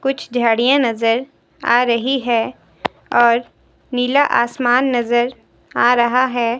कुछ झाड़ियां नजर आ रही है और नीला आसमान नजर आ रहा है।